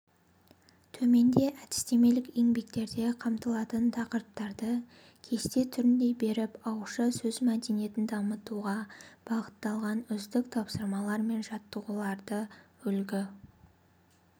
төменде әдістемелік еңбектерде қамтылатын тақырыптарды кесте түрінде беріп ауызша сөз мәдениетін дамытуға бағытталған үздік тапсырмалар мен жаттығулардыүлгі